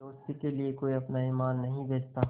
दोस्ती के लिए कोई अपना ईमान नहीं बेचता